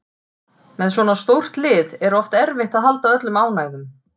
Með svona stórt lið er oft erfitt að halda öllum ánægðum